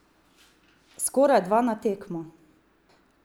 Skoraj dva na tekmo!